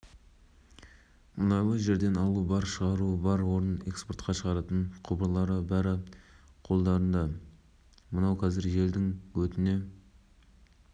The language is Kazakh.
болашақ зауыты байланысқа шығып жұмыс барысы туралы баяндады казтрансойл шақырымдағы нысаны телекөпір арқылы іске қосып елбасы қызметтеріне сәттілік тіледі